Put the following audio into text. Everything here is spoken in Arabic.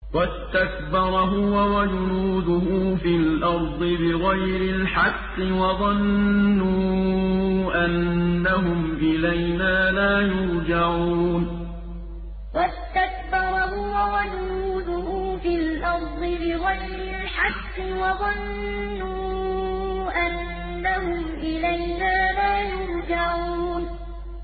وَاسْتَكْبَرَ هُوَ وَجُنُودُهُ فِي الْأَرْضِ بِغَيْرِ الْحَقِّ وَظَنُّوا أَنَّهُمْ إِلَيْنَا لَا يُرْجَعُونَ وَاسْتَكْبَرَ هُوَ وَجُنُودُهُ فِي الْأَرْضِ بِغَيْرِ الْحَقِّ وَظَنُّوا أَنَّهُمْ إِلَيْنَا لَا يُرْجَعُونَ